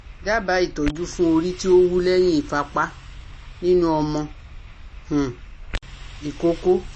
Daba itoju fun ori ti o wu lehin ifapa ninu omo um ikoko